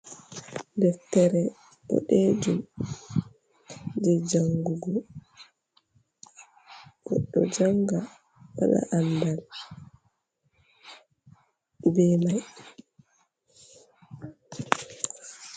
Deftere boɗejum je jangugo. Goɗɗo janga waɗa andal be mai.